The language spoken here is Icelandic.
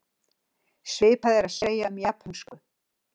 svipað er að segja um japönsku